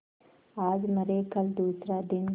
आज मरे कल दूसरा दिन